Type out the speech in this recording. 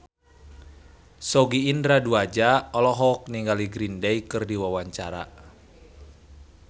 Sogi Indra Duaja olohok ningali Green Day keur diwawancara